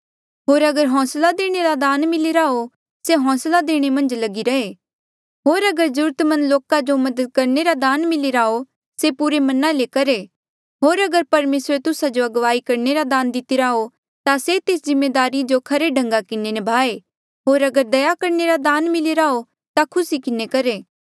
होर अगर होंसला देणे रे दान मिलिरा हो से होंसला देणे मन्झ लगिरा रहे होर अगर जरूरत मंद लोका जो मदद करणे रा दान मिलिरा हो से पुरे मना ले करहे होर अगर परमेसरे तुस्सा जो अगुवाई करणे रे दान दितिरा हो ता से तेस जिम्मेदारी जो खरे ढंगा किन्हें निभाए होर अगर दया करणे रा दान मिलिरा हो ता से खुसी किन्हें करहे